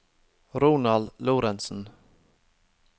Ronald Lorentsen